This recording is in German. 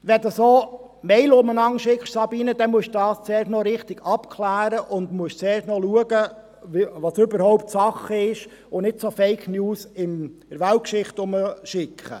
Wenn Sie solche E-Mails herumschicken, Grossrätin Geissbühler, dann müssen sie zuerst noch richtig abklären und schauen, was überhaupt Sache ist und nicht solche Fake News in der Weltgeschichte herumschicken.